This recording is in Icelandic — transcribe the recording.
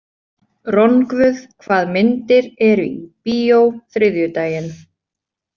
Rongvuð, hvað myndir eru í bíó þriðjudaginn?